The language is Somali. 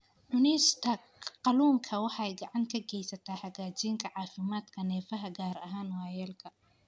Cunista kalluunka waxay gacan ka geysataa hagaajinta caafimaadka neerfaha, gaar ahaan waayeelka.